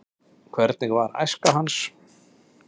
hvernig var æska hans